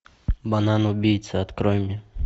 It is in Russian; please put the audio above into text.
банан убийца открой мне